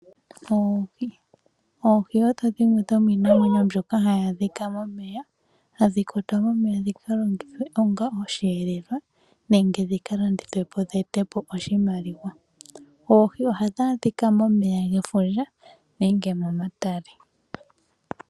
Oohi odho dhimwe dhomiinamwenyo mbyoka hayi adhika momeya hadhi kwatwa momeya dhikalongithwe onga osheelelwa nenge dhikalandithwepo dheetepo oshimaliwa oohi ohadhi adhika momeya gefundja nenge momatale.